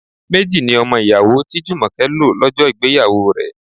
Méjì ni ọmọ ìyàwó tí Jumoke lo lọ́jọ́ ìgbéyàwó rẹ.